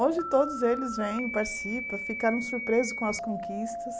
Hoje todos eles vêm, participam, ficaram surpresos com as conquistas.